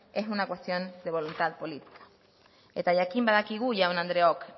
es una cuestión de voluntad política eta jakin badakigu jaun andreok